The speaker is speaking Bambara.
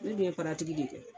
Ne dun ye paratigi de kɛ.